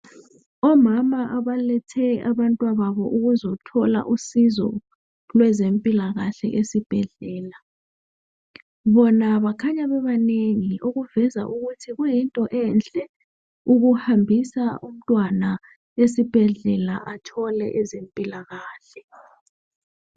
Omama abalethe abantwababo ukuzothola usizo lwezempilakahle esibhedlela. Bona bakhanya bebanengi okuveza ukuthi kuyinto enhle ukuhambisa umntwana esibhedlela ukuze athole impilakahle.